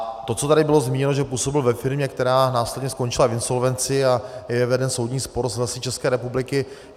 A to, co tady bylo zmíněno, že působil ve firmě, která následně skončila v insolvenci, a je veden soudní spor s Lesy České republiky...